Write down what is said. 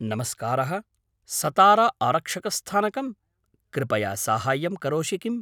नमस्कारः, सतारा आरक्षकस्थानकं, कृपया साहाय्यं करोषि किम्?